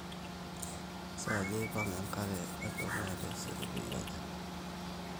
kesaaja eipamng enkari e dukuya taisere peyie ajing